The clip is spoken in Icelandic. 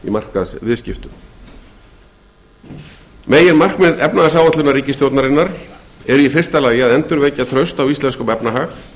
sem stefnt er að meginmarkmið efnahagsáætlunar ríkisstjórnarinnar eru í fyrsta lagi að endurvekja traust á íslenskum efnahag